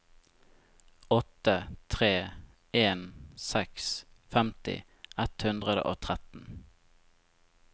åtte tre en seks femti ett hundre og tretten